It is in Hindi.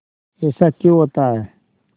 ऐसा क्यों होता है